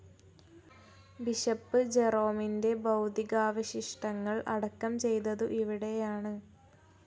Bishop ജെറോമിന്റെ ഭൗതികാവശിഷ്ടങ്ങൾ അടക്കം ചെയ്തതു ഇവിടെയാണ്.